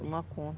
Toma conta.